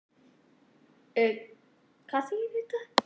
Við eigum tvö börn, svo ég segi aðeins frá okkur.